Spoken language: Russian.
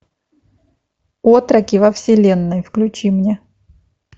отроки во вселенной включи мне